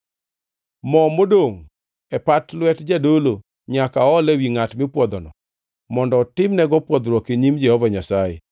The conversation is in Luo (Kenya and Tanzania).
Mo modongʼ e pat lwet jadolo nyaka ool ewi ngʼat mipwodhono mondo otimnego pwodhruok e nyim Jehova Nyasaye.